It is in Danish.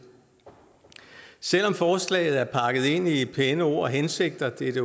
selv om forslaget er pakket ind i pæne ord og hensigter det er det